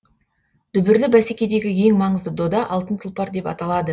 дүбірлі бәсекедегі ең маңызды дода алтын тұлпар деп аталады